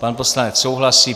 Pan poslanec souhlasí.